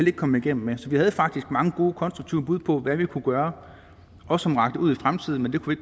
ikke komme igennem med så vi havde faktisk mange gode konstruktive bud på hvad vi kunne gøre og som rakte ud i fremtiden men det kunne